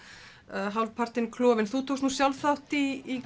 hálfpartinn klofin þú tókst þátt í